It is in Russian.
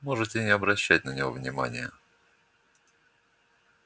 можете не обращать на него внимания